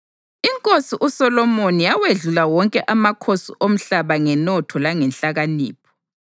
Inkosi uSolomoni yawedlula wonke amakhosi omhlaba ngenotho langenhlakanipho.